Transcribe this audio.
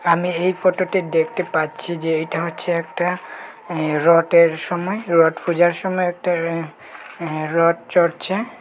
আমি এই ফটোটে দেখটে পাচ্ছি যে এইটা হচ্ছে একটা অ্যা রটের সময় রট পূজার সময় একটা অ্যা রট চড়ছে ।